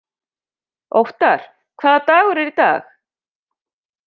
Óttar, hvaða dagur er í dag?